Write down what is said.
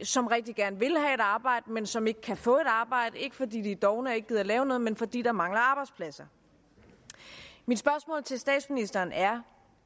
og som rigtig gerne vil have et arbejde men som ikke kan få et arbejde ikke fordi de er dovne og ikke gider lave noget men fordi der mangler arbejdspladser mit spørgsmål til statsministeren er